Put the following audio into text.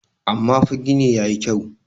amma fa gini ya yi kyau